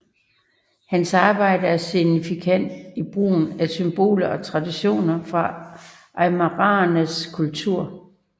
Hans arbejder er signifikante i brugen af symboler og traditioner fra aymaraernes kultur